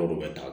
Olu bɛ ta